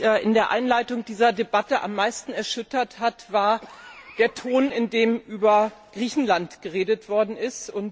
Was mich in der Einleitung dieser Debatte am meisten erschüttert hat, war der Ton, in dem über Griechenland geredet worden ist.